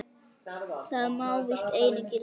Það má víst einu gilda.